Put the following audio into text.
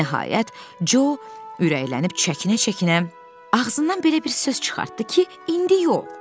Nəhayət, Co ürəklənib çəkinə-çəkinə ağzından belə bir söz çıxartdı ki, indi yox.